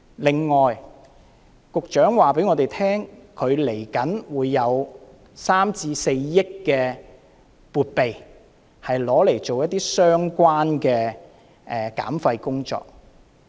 另外，局長告訴我們，他稍後會有3億元至4億元的撥備，用來做一些相關的減廢工作。